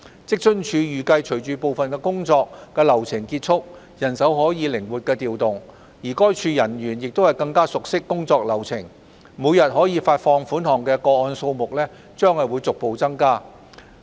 職津處預計隨着部分工作流程結束，人手可加以靈活調動，而該處人員也更熟悉工作流程，每天可發放款項的個案數目將逐步增加。